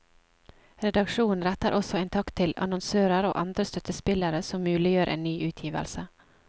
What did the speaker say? Redaksjonen retter også en takk til annonsører og andre støttespillere som muliggjør en ny utgivelse.